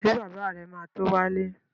Ṣé bàbá rẹ̀ ma tó wálé?